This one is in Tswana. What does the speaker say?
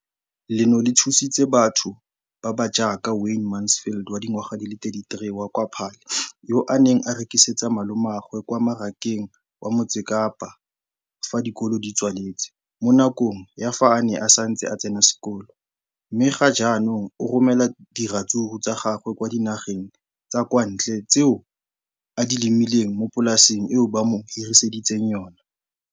Leno le thusitse batho ba ba jaaka Wayne Mansfield, 33, wa kwa Paarl, yo a neng a rekisetsa malomagwe kwa Marakeng wa Motsekapa fa dikolo di tswaletse, mo nakong ya fa a ne a santse a tsena sekolo, mme ga jaanong o romela diratsuru tsa gagwe kwa dinageng tsa kwa ntle tseo a di lemileng mo polaseng eo ba mo hiriseditseng yona.